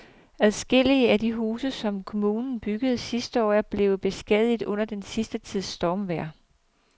Adskillige af de huse, som kommunen byggede sidste år, er blevet beskadiget under den sidste tids stormvejr.